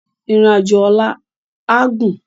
Irin ájó òlà á gún